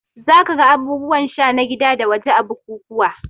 Za ka ga abubuwan sha na gida da waje a bukukuwa